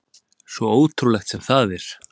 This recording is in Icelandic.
Svo ótrúlegt sem það er.